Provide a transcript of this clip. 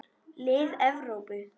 Lið Evrópu.